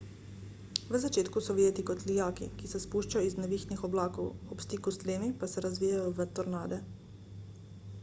v začetku so videti kot lijaki ki se spuščajo iz nevihtnih oblakov ob stiku s tlemi pa se razvijejo v tornade